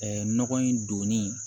nɔgɔ in donni